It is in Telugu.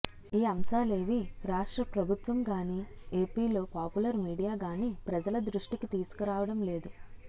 ఈ అంశాలేవి రాష్ట్ర ప్రభుత్వంగానీ ఎపిలో పాపులర్ మీడియాగానీ ప్రజల దృష్టికి తీసుకురావడంలేదు